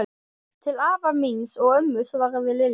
Til afa míns og ömmu svaraði Lilla.